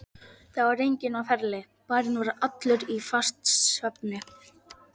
Það var enginn á ferli, bærinn var allur í fastasvefni.